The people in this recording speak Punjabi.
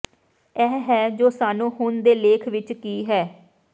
ਇਹ ਹੈ ਜੋ ਸਾਨੂੰ ਹੁਣ ਦੇ ਲੇਖ ਵਿਚ ਕੀ ਹੈ